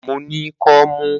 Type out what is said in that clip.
Mo ní kọ́mú.